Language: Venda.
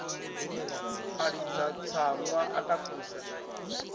a ḽidza tsaṅwa a takusa